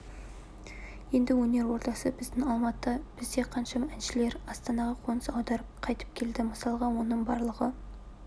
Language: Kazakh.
енді өнер ордасы біздің алматы бізде қаншама әншілер астанаға қоныс аударып қайтып келді мысалға оны барлығы